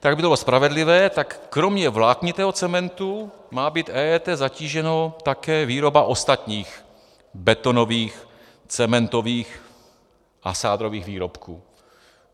Tak aby to bylo spravedlivé, tak kromě vláknitého cementu má být EET zatížena také výroba ostatních betonových cementových a sádrových výrobků.